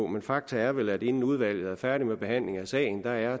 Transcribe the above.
men fakta er vel at inden udvalget er færdig med behandlingen af sagen er